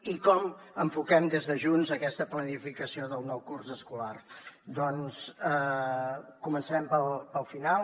i com enfoquem des de junts aquesta planificació del nou curs escolar doncs començarem pel final